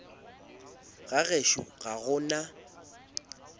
ga gešo ga go na